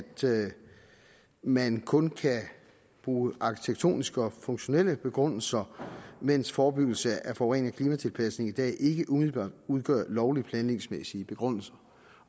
man kun kan bruge arkitektoniske og funktionelle begrundelser mens forebyggelse af forurening og klimatilpasning i dag ikke umiddelbart udgør lovlige planlægningsmæssige begrundelser